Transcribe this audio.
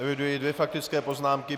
Eviduji dvě faktické poznámky.